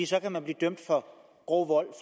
så kan man blive dømt for grov vold